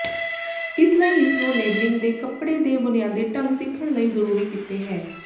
ਇਸ ਲਈ ਇਸ ਨੂੰ ਲੇਬਲਿੰਗ ਦੇ ਕੱਪੜੇ ਦੇ ਬੁਨਿਆਦੀ ਢੰਗ ਸਿੱਖਣ ਲਈ ਜ਼ਰੂਰੀ ਕੀਤੇ ਹੈ